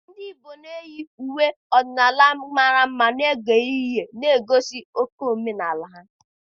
Ndị igbo na-eyi uwe ọdịnala mara mma n'oge mmemme New Yam, na-egosi oke omenaala ha.